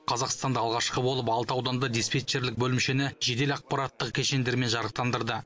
қазақстанда алғашқы болып алты ауданда диспетчерлік бөлімшені жедел ақпараттық кешендермен жарықтандырды